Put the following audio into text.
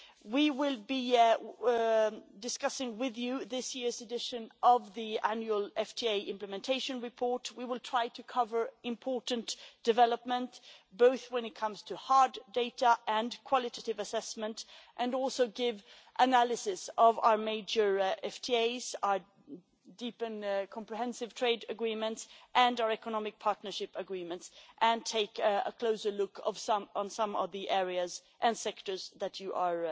We will be discussing with you this year's edition of the annual FTA implementation report. We will try to cover important developments, both when it comes to hard data and qualitative assessment, and also give analysis of our major FTAs, our deep and comprehensive trade agreements and our economic partnership agreements, and take a closer look at some of the areas and sectors you are